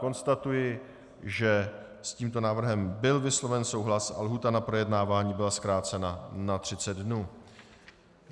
Konstatuji, že s tímto návrhem byl vysloven souhlas a lhůta na projednávání byla zkrácena na 30 dnů.